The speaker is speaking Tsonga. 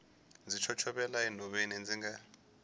ndzi chochovela enhoveni ndzi nga